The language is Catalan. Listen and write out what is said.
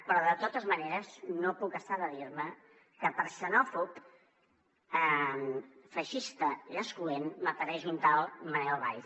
però de totes maneres no puc estar de dir me que per xenòfob feixista i excloent m’apareix un tal manel valls